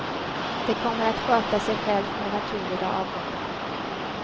Det kommer att sköta sig självt med naturliga avgångar.